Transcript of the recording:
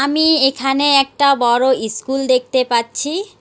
আমি এখানে একটা বড় ইস্কুল দেখতে পাচ্ছি।